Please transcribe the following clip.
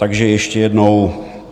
Takže ještě jednou.